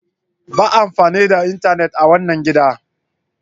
Ba amfani da intenet a wanan gidan!